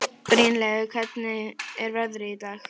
Brynleifur, hvernig er veðrið í dag?